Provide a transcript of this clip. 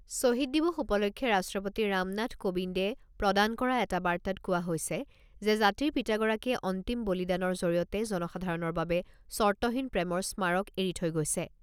ছহিদ দিৱস উপলক্ষে ৰাষ্ট্ৰপতি ৰামনাথ কোবিন্দে প্ৰদান কৰা এটা বাৰ্তাত কোৱা হৈছে যে, জাতিৰ পিতাগৰাকীয়ে অন্তিম বলিদানৰ জৰিয়তে জনসাধাৰণৰ বাবে স্বৰ্তহীন প্ৰেমৰ স্মাৰক এৰি থৈ গৈছে।